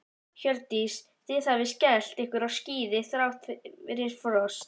Hjördís: Þið hafið skellt ykkur á skíði þrátt fyrir frost?